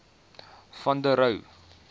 van der rohe